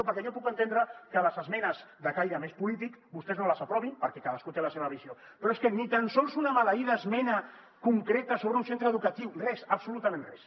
perquè jo puc entendre que les esmenes de caire més polític vostès no les aprovin perquè cadascú té la seva visió però és que ni tan sols una maleïda esmena concreta sobre un centre educatiu res absolutament res